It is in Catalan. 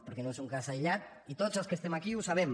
perquè no és un cas aïllat i tots els que estem aquí ho sabem